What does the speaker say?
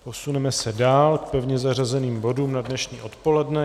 Posuneme se dál k pevně zařazeným bodům na dnešní odpoledne.